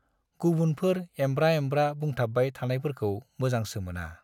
गुबुनफोर एंब्रा एंब्रा बुंथाबबाय थानायफोरखौ मोजांसो मोना।